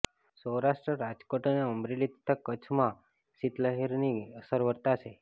સૌરાષ્ટ્ર રાજકોટ અને અમરેલી તથા કચ્છમાં શીત લહેરની અસર વર્તાશે